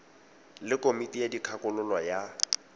le komiti ya dikgakololo ya